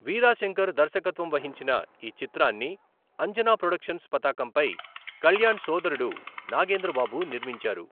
వీరా శంకర్ దర్శకత్వం వహించిన ఈ చిత్రాన్ని అంజనా ప్రొడక్షన్స్ పతాకంపై కళ్యాణ్ సోదరుడు నాగేంద్ర బాబు నిర్మించారు.